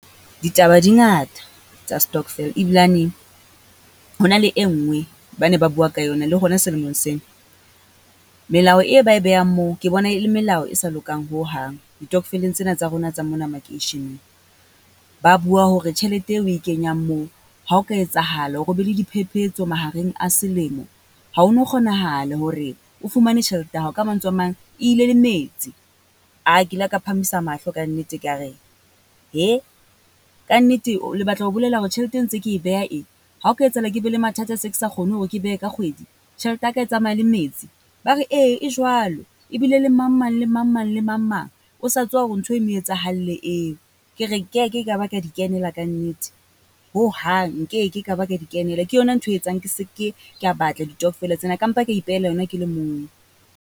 Ditaba di ngata tsa stockvel ebilane ho na le e nngwe ba ne ba bua ka yona le rona selemong sena. Melao e ba e behang moo, ke bona e le melao e sa lokang hohang ditokveleng tsena tsa rona tsa mona makeisheneng. Ba bua hore tjhelete eo o e kenyang moo, ha o ka etsahala hore ho be le diphephetso mahareng a selemo. Ha ho no kgonahala hore o fumane tjhelete ya hao, ka mantswe a mang e ile le metsi. Ke ile ka phahamisa mahlo kannete, ka re kannete le batla ho bolela hore tjhelete e ntse ke e beha ee. Ha o ka etsahala ke be le mathata se ke sa kgone hore ke behe ka kgwedi, tjhelete ya ka e tsamaya le metsi? Ba re ee, e jwalo ebile le mang mang, le mang mang le mang mang o sa tswa hore ntho e mo etsahalle eo. Ke re nkeke ka ba ka di kenela kannete hohang, nkeke ka ba ka di kenela. Ke yona nthwe e etsang ke se ke ka batla ditokvela tsena ka mpa ka e pehela yona ke le mong.